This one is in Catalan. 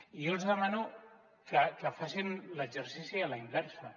i jo els demano que facin l’exercici a la inversa